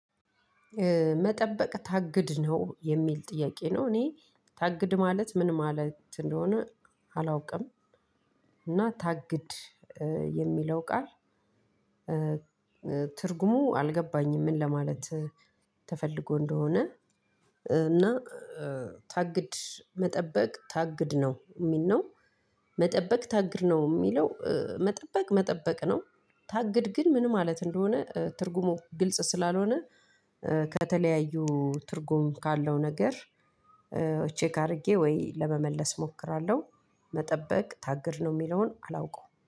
መጠበቅ ታግድ ነው የሚል ጥያቄ ነው። እኔ ታግድ ማለት ምን ማለት እንደሆነ አላውቅም። እና ታግድ የሚለው ቃል ትርጉሙ አልገባኝም። ምን ለማለት? ተፈልጎ እንደሆነ እና ታግድ መጠበቅ ታግድ ነው የሚል ነው። መጠበቅ ታግድ ነው የሚለው መጠበቅ መጠበቅ ነው። ታግድ ግን ምን ማለት እንደሆነ ትርጉሙ ግልጽ ስላልሆነ። ከተለያዩ ትርጉም ካለው ነገር ቼክ አድርጌ ወይ ለመመለስ እሞክራለሁ። መጠበቅ ታግድ ነው የሚለውን አላውቀውም